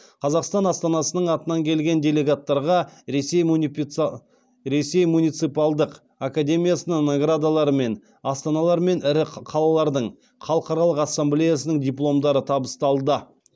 қазақстан астанасының атынан келген делегаттарға ресей муниципалдық академиясының наградалары мен астаналар мен ірі қалалардың халықаралық ассамблеясының дипломдары табысталды